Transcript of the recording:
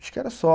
Acho que era só.